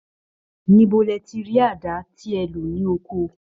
Níbo lẹ ti rí àdá tẹ lò ní oko?